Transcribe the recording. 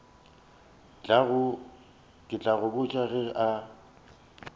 tla go botša ge a